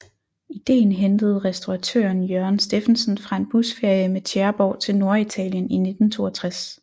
Idéen hentede restauratøren Jørgen Steffensen fra en busferie med Tjæreborg til Norditalien i 1962